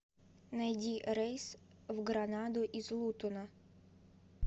найди рейс в гранаду из лутона